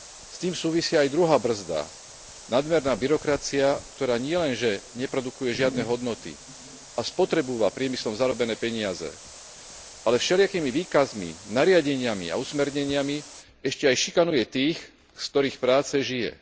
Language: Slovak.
S tým súvisí aj druhá brzda nadmerná byrokracia, ktorá nielenže neprodukuje žiadne hodnoty a spotrebúva priemyslom zarobené peniaze, ale všelijakými výkazmi, nariadeniami a usmerneniami ešte aj šikanuje tých, z ktorých práce žije.